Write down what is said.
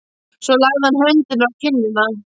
Svo lagði hann höndina á kinnina.